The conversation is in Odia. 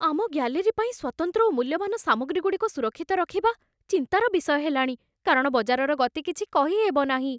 ଆମ ଗ୍ୟାଲେରୀ ପାଇଁ ସ୍ଵତନ୍ତ୍ର ଓ ମୂଲ୍ୟବାନ ସାମଗ୍ରୀଗୁଡ଼ିକ ସୁରକ୍ଷିତ ରଖିବା ଚିନ୍ତାର ବିଷୟ ହେଲାଣି, କାରଣ ବଜାରର ଗତି କିଛି କହି ହେବନାହିଁ ।